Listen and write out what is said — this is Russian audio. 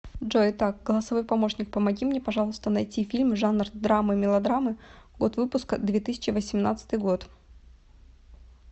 джой итак голосовой помощник помоги мне пожалуйста найти фильм жанр драмы мелодрамы год выпуска две тысячи восемнадцатый год